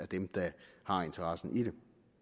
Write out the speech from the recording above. dem der har interessen i det